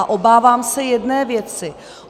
A obávám se jedné věci.